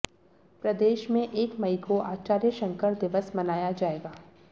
प्रदेश में एक मई को आचार्य शंकर दिवस मनाया जाएगा